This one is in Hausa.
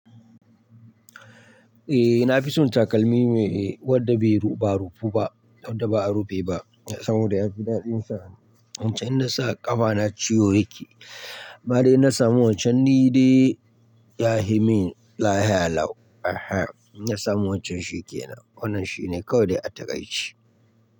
Eh na fi son takalmi mai wanda bai rufa rufu ba, wanda ba a rufe ba saboda ya fi daɗinsa. Wancan in nasa ƙafana ciwo yake. Anma dai na samu wancan ni dai ya yi min lahiya lau. Na samu wancan shi ke nan. Wannan shi ne kawai dai atakai ce.